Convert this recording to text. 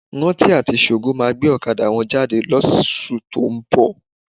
Rántí àti Ṣògo máa gbé ọ̀kadà wọn jáde lóṣù tó ń bọ̀.